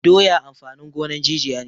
Doya amfanin gonan jijiya ne